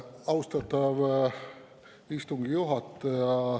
Austatav istungi juhataja!